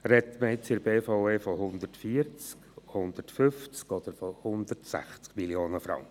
Spricht man in der BVE nun von 140, 150 oder 160 Mio. Franken?